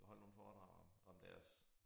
Holde nogle foredrag om deres